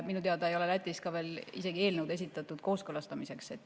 Minu teada ei ole eelnõu Lätis isegi veel kooskõlastamiseks esitatud.